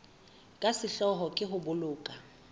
ka sehloohong ke ho boloka